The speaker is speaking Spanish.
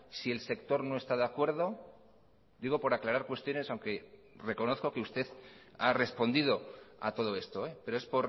si el sector no esta de acuerdo digo por aclarar cuestiones aunque reconozco que usted ha respondido a todo esto pero es